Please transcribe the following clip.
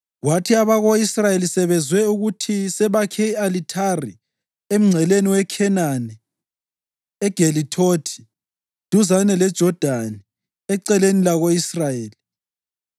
Kwathi abako-Israyeli sebezwe ukuthi sebakhe i-alithari emngceleni weKhenani eGelithothi duzane leJodani eceleni lako-Israyeli,